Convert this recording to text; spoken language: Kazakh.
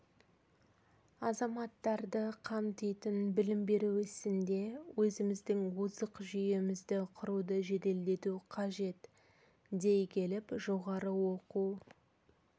азаматтарды қамтитын білім беру ісінде өзіміздің озық жүйемізді құруды жеделдету қажет дей келіп жоғары оқу